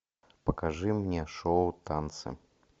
покажи мне шоу танцы